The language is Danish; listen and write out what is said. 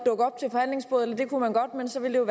forhandlingsbordet eller det kunne man godt men så ville